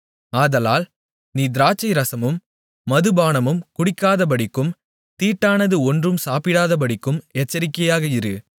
ஆதலால் நீ திராட்சை ரசமும் மதுபானமும் குடிக்காதபடிக்கும் தீட்டானது ஒன்றும் சாப்பிட்டாதபடிக்கும் எச்சரிக்கையாக இரு